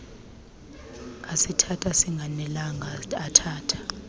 asithatha singanelanga athatha